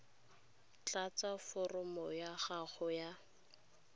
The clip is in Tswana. tlatsa foromo ya gago ya